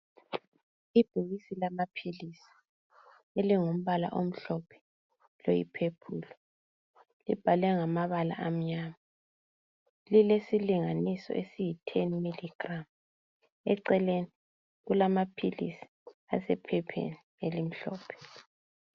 Ibhokisi lamaphilisi elingumbala omhlophe loyi purple libhaliwe ngamabala amnyama lilesilinganiso esiyi 10 mg eceleni kulamaphilisi asephepheni elimhlophe.